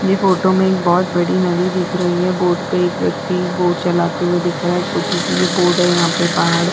ये फोटो में एक बोहोत बड़ी नदी दिख रही है। बोर्ड पे एक व्यक्ति बोर्ड चलाते हुए दिख रहा है। छोटी-सी ये बोर्ड है यहाँ पे पहाड़ --